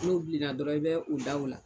N'u bilenna dɔrɔn i bɛ u da u la.